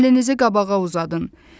Əlinizi qabağa uzadın.